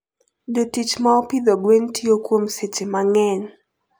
Jotich ma opidho gwen tiyo kuom seche mang'eny.